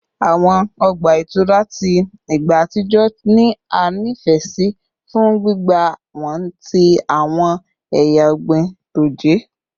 Awọn ọgba itura ti igba atijọ ni a nifẹ si fun gbigba wọn ti awọn eya ọgbin toje